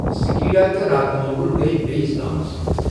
سِکیڑا تہٕ راتہٕ مۄٚغل گٔیہِ بیٚیِس گامس منٛز۔